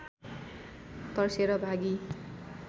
तर्सेर भागी